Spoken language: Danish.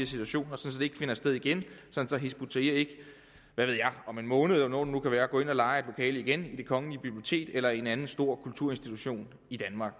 situationer så det ikke finder sted igen og sådan at hizb ut tahrir ikke om en måned eller hvornår det være går ind og lejer et lokale igen i det kongelige bibliotek eller i en anden stor kulturinstitution i danmark